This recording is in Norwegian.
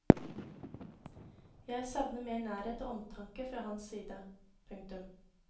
Jeg savner mer nærhet og omtanke fra hans side. punktum